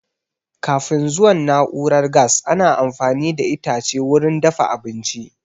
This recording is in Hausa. Kafin zuwan na'urar gas, ana amfani da itace wurin dafa abinci